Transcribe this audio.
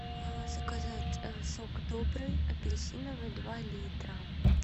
заказать сок добрый апельсиновый два литра